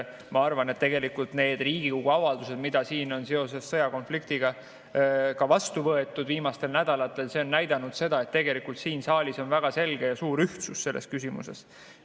Ma arvan, et tegelikult need Riigikogu avaldused, mida siin on seoses sõjakonfliktiga viimastel nädalatel vastu võetud, on näidanud, et tegelikult siin saalis on väga selge ja suur ühtsus selles küsimuses.